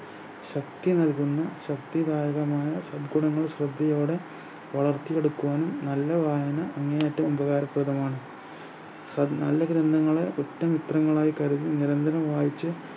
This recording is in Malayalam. ശക്തി നൽകുന്നു ശക്തിദായകമായ ശ്രദ്ധയോടെ വളർത്തി എടുക്കുവാനും നല്ല വായന അങ്ങേയറ്റം ഉപകാരപ്രദമാണ് സ നല്ല ഗ്രൻഥങ്ങളെ ഉറ്റ മിത്രങ്ങളായി കരുതി നിരന്തരം വായിച്ച്